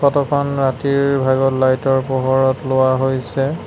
ফটোখন ৰাতিৰ ভাগত লাইটৰ পোহৰত লোৱা হৈছে।